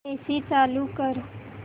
AC चालू कर